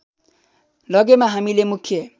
लगेमा हामीले मुख्य